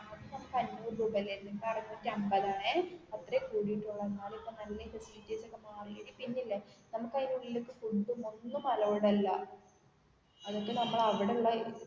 പണ്ട് അഞ്ഞൂറ് രൂപ അല്ലേ ഇപ്പോ അറുനൂറ്റി അന്പത് ആണേ അത്രേ കൂടിയിട്ടുള്ളു എന്നാലും ഇപ്പൊ നല്ല പോകാൻ ആയിട്ട് എടി പിന്നേ അല്ലേ നമുക്ക് അതിൻ്റെ ഉള്ളിൽ ഫുഡും ഒന്നും അലോഡഡ് അല്ല അതൊക്കെ നമ്മൾ അവിടെ ഉള്ള